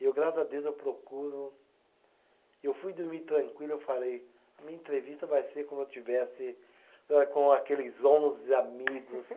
E eu, graças a Deus, eu procuro. Eu fui dormir tranquilo, eu falei, a minha entrevista vai ser como eu estivesse, âh, com aqueles onze amigos.